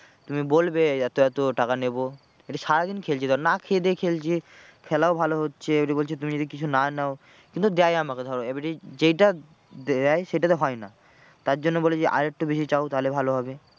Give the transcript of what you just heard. তুমি বলবে এত এত টাকা নেবো এটা সারাদিন খেলছে ধর না খেয়ে দেয়ে খেলছি। খেলাও ভালো হচ্ছে এবারে বলছে তুমি যদি কিছু না নাও, কিন্তু দেয় আমাকে ধরো এবারে যেটা দেয় সেইটাতে হয় না তার জন্য বলে যে আর একটু বেশি চাও তাহলে ভালো হবে।